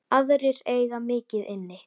Aðrir eiga mikið inni.